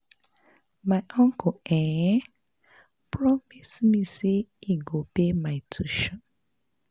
My uncle um promise me say he go pay for my tuition